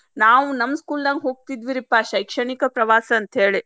ನಾವ್ ನಮ್ಮ್ school ನ್ಯಾಗ ಹೋಗ್ತಿದ್ವಿರೀಪಾ ಶೈಕ್ಷಣಿಕ ಪ್ರವಾಸ ಅಂತೇಳಿ.